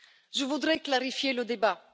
Je voudrais clarifier le débat.